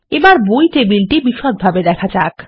আমাদের বই টেবিলটি বিষদভাবে দেখা যাক